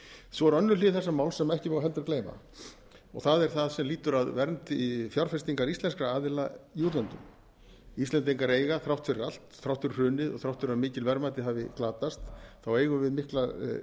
er önnur hlið þessa máls sem ekki má heldur gleyma og það það sem lýtur að vernd fjárfestinga íslenskra aðila í útlöndum íslendingar eiga þrátt fyrir allt þrátt fyrir hrunið og þrátt fyrir að mikil verðmæti hafi glatast eigum við mikla